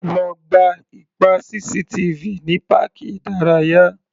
Lo gba ipa CCTV ní páàkì ìdárayá.